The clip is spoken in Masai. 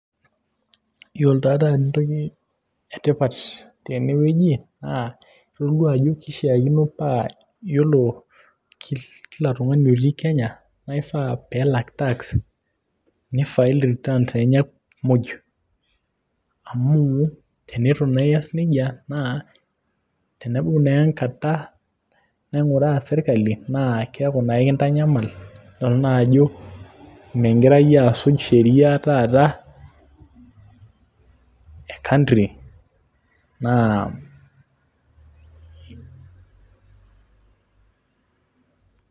iyiolo entoki etipat tene wueji, naa itoduaa, ajo kishaakino naa iyiolo kila siku olungani otii kenya, naa kifaa nelak tax, ni file returns enye muj. amu teneitu naa ias nejia, naa tenepuku naa enkata naing'uraa sirkali naa keeku naa ekintanyamal. nidol naa ajo migira iyie asuj sheria taata e country naa